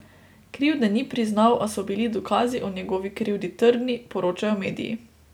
Krivde ni priznal, a so bili dokazi o njegovi krivdi trdni, poročajo mediji.